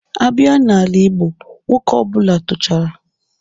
A bịa n'ala igbo, nwoke ọ bụla tochara...